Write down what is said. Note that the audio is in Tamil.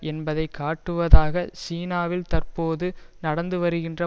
என்பதை காட்டுவதாக சீனாவில் தற்போது நடந்து வருகின்ற